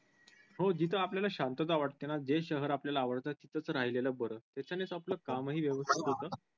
हो जिथे आपल्याला शांतता वाटते ना जे शहर आपल्याला आवडत तिथेच राहिलेलं बरं त्याच्यानेंच आपण कामही व्यवस्थित होत.